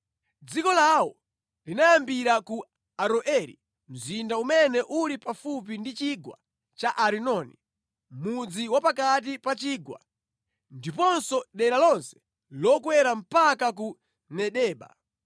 Dziko lawo linayambira ku Aroeri mzinda umene uli pafupi ndi chigwa cha Arinoni, mʼmudzi wa pakati pa chigwa, ndiponso dera lonse lokwera mpaka ku Medeba.